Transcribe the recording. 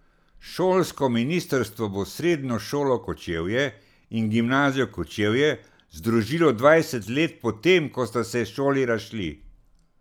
Šolsko ministrstvo bo Srednjo šolo Kočevje in Gimnazijo Kočevje združilo dvajset let po tem, ko sta se šoli razšli.